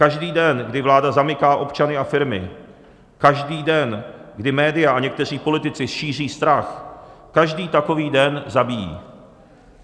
Každý den, kdy vláda zamyká občany a firmy, každý den, kdy média a někteří politici šíří strach, každý takový den zabíjí.